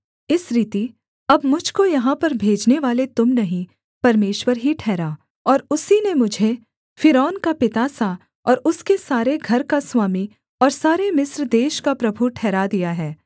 इस रीति अब मुझ को यहाँ पर भेजनेवाले तुम नहीं परमेश्वर ही ठहरा और उसी ने मुझे फ़िरौन का पिता सा और उसके सारे घर का स्वामी और सारे मिस्र देश का प्रभु ठहरा दिया है